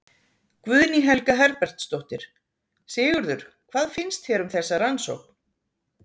Guðný Helga Herbertsdóttir: Sigurður, hvað finnst þér um þessa rannsókn?